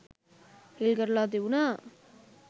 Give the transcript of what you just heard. හිල් කරලා තිබුණා.